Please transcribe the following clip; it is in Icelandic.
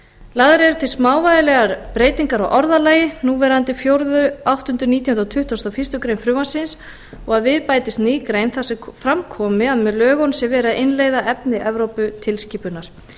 lagðar eru til smávægilegar breytingar á orðalagi núverandi fjórða áttunda nítjándu og tuttugasta og fyrstu grein frumvarpsins og að við bætist ný grein þar sem fram komi að með lögunum sé verið að innleiða efni evróputilskipunar